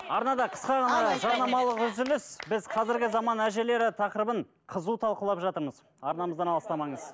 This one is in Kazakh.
арнада қысқа ғана жарнамалық үзіліс біз қазіргі заман әжелері тақырыбын қызу талқылап жатырмыз арнамыздан алыстамаңыз